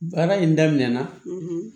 Baara in daminɛna